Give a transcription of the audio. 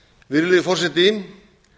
virðulegi forseti